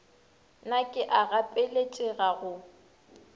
na ke a gapeletšega go